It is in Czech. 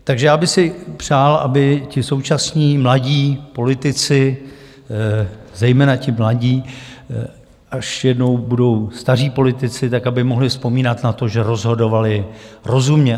Takže já bych si přál, aby ti současní mladí politici, zejména ti mladí, až jednou budou staří politici, tak aby mohli vzpomínat na to, že rozhodovali rozumně.